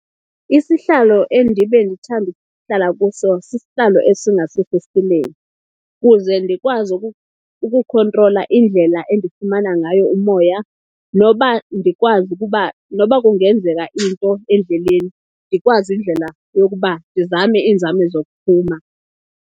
Isihlalo endibe ndithande ukuhlala kuso sisihlalo esingasefestilen,i kuze ndikwazi ukukhontrola indlela endifumana ngayo umoya noba ndikwazi ukuba noba kungenzeka into endleleni ndikwazi indlela yokuba ndizame iinzame zokuphuma.